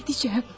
Edəcəm.